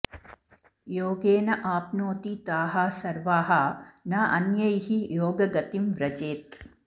योगेन आप्नोति ताः सर्वाः न अन्यैः योगगतिं व्रजेत्